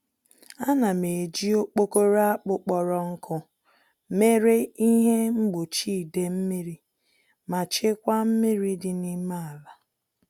Ánám eji okporo akpụ kpọrọ nkụ mere ihe mgbochi idee-mmiri ma chekwaa mmiri dị n'ime àlà